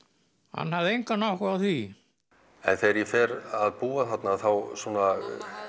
hann hafði engan áhuga á því og þegar ég fer að búa þarna þá svona